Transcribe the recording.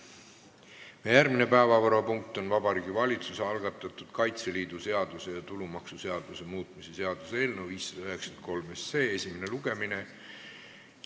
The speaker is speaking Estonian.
Meie järgmine päevakorrapunkt on Vabariigi Valitsuse algatatud Kaitseliidu seaduse ja tulumaksuseaduse muutmise seaduse eelnõu 593 esimene lugemine.